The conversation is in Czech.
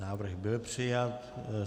Návrh byl přijat.